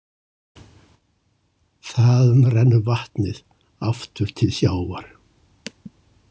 Þaðan rennur vatnið aftur til sjávar.